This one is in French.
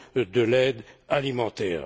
de l'aide alimentaire.